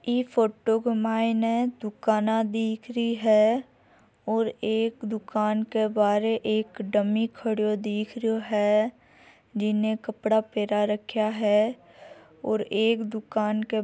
इ फोटो के मायने दुकाना दिख रही है और एक दुकान के बारे एक डमी खड़ो दिख रहियो है जीने कपडा पहरा रखा है और एक दुकान के --